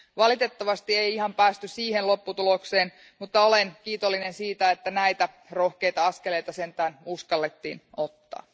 Valitettavasti ei ihan päästy siihen lopputulokseen, mutta olen kiitollinen siitä, että näitä rohkeita askeleita sentään uskallettiin ottaa.